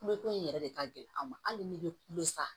Kule ko in yɛrɛ de ka gɛlɛn an ma hali n'i bɛ kule sa